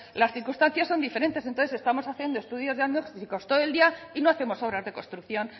las circunstancias son diferentes entonces estamos haciendo estudios diagnósticos todo el día y no hacemos obras de construcción